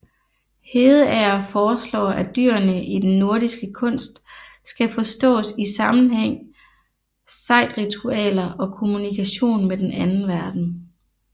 Hedeager foreslår at dyrene i den nordiske kunst skal forstås i sammenhæng sejdritualer og kommunikation med den anden verden